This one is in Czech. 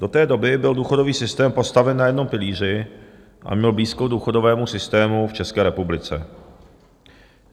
Do té doby byl důchodový systém postaven na jednom pilíři a měl blízko důchodovému systému v České republice.